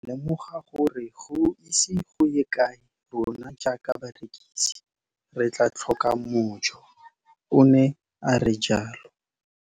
Ke ne ka lemoga gore go ise go ye kae rona jaaka barekise re tla tlhoka mojo, o ne a re jalo.